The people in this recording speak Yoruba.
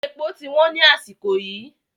Èpò ti wọ́n ni àsìkò yìí